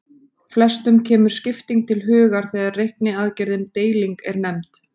Flestum kemur skipting til hugar þegar reikniaðgerðin deiling er nefnd.